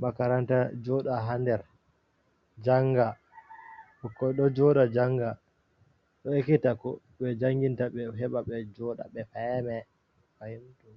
makaranta joda ha nder janga bukkoi do joda janga do ekita ko be janginta be heba be joɗa be fama ɓe fetta.